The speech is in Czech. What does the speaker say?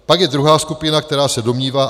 Pak je druhá skupina, která se domnívá..."